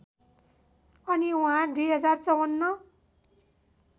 अनि उहाँ २०५४